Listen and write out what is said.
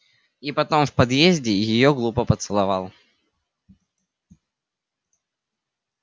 и потом в подъезде её глупо поцеловал